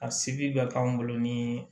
A se bi k'an bolo ni